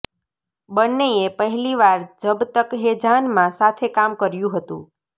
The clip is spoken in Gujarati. બંનેએ પહેલીવાર જબ તક હૈ જાનમાં સાથે કામ કર્યું હતું